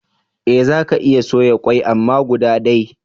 Eh zaka iya soya kwai amma guda day